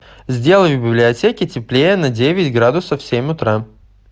сделай в библиотеке теплее на девять градусов в семь утра